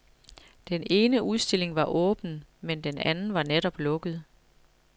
Den ene udstilling var åben, men den anden var netop lukket.